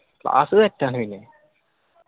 class set ആണ്.